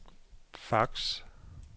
fax